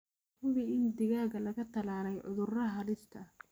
Hubi in digaaga laga tallaalay cudurrada halista ah.